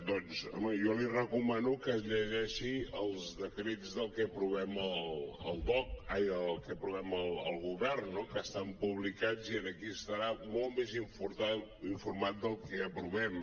doncs home jo li recomano que es llegeixi els decrets del que aprovem al govern no que estan publicats i en aquí estarà molt més informat del que aprovem